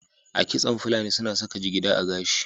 A kitson fulani su na saka jigida a gashi